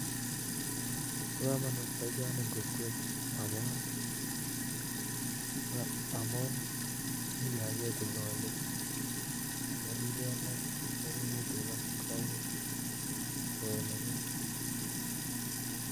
Bokomonut boisoni eng kokwet amuu kinyakee tuga ak keribee ingokaik